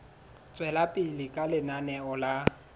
tswela pele ka lenaneo la